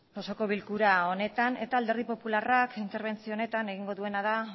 osoko bilkura honetan eta alderdi popularrak interbentzio honetan egingo duena da